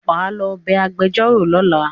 wá ló bé agbejoro lọla